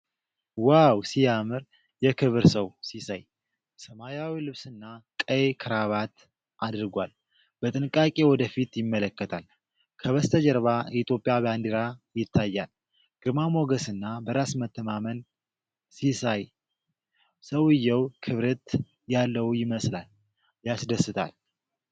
ዋው ሲያምር! የክብር ሰው ሲያሳይ! ሰማያዊ ልብስና ቀይ ክራባት አድርጓል። በጥንቃቄ ወደ ፊት ይመለከታል። ከበስተጀርባ የኢትዮጵያ ባንዲራ ይታያል። ግርማ ሞገስና በራስ መተማመን ሲያሳይ! ሰውዬው ክብርት ያለው ይመስላል። ያስደስታል!